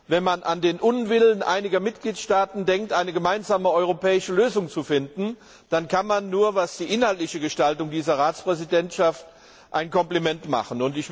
Wenn man an den Unwillen einiger Mitgliedstaaten denkt, eine gemeinsame europäische Lösung zu finden, dann kann man was die innerliche Gestaltung betrifft dieser Ratspräsidentschaft nur ein Kompliment machen.